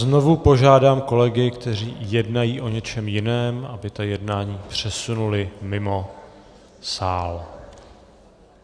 Znovu požádám kolegy, kteří jednají o něčem jiném, aby ta jednání přesunuli mimo sál.